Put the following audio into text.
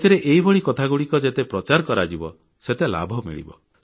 ସେଥିରେ ଏହିଭଳି କଥାଗୁଡ଼ିକ ଯେତେ ରୋଚକ ଢଙ୍ଗରେ ପ୍ରଚାର କରାଯିବ ସେତେ ଲାଭ ମିଳିବ